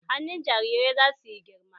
Hannun jarirai zasu yi girma